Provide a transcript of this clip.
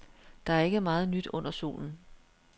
Der er ikke meget nyt under solen.